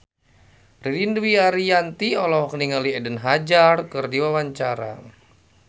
Ririn Dwi Ariyanti olohok ningali Eden Hazard keur diwawancara